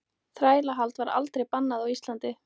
Þrælahald var aldrei bannað á Íslandi.